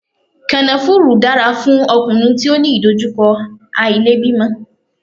Kànáfùrú dára fún ọkùnrin tí ó ní ìdojúkọ àìlèbímọ.